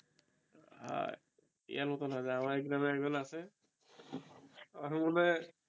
আর এর মতন হবে আমার একজন আছে